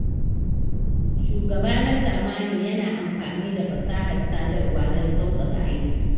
Shugaba na zamani yana amfani da fasahar sadarwa don sauƙaƙa aiki